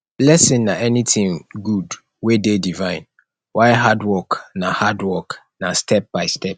blessing na anything good wey de divine while hard work na hard work na step by step